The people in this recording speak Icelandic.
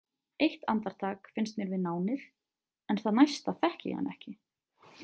Eitt andartak finnst mér við nánir en það næsta þekki ég hann ekki.